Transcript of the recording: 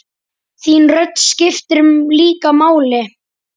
Þín rödd skiptir líka máli.